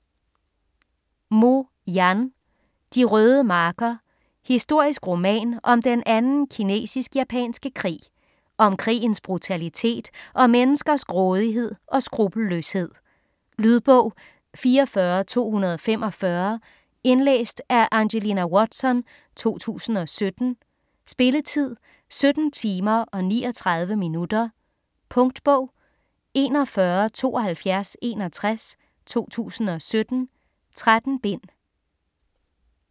Mo, Yan: De røde marker Historisk roman om den anden kinesisk-japanske krig. Om krigens brutalitet og menneskers grådighed og skruppelløshed. Lydbog 44245 Indlæst af Angelina Watson, 2017. Spilletid: 17 timer, 39 minutter. Punktbog 417261 2017. 13 bind.